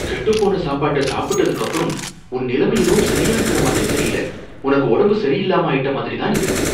கெட்டுப் போன சாப்பாட்டை சாப்பிட்டதுக்கு அப்புறம் உன் நிலமை எதுவும் சரியா இருக்கற மாதிரி தெரியல, உனக்கு உடம்பு சரியில்லாம ஆயிட்ட மாதிரி தான் இருக்கு.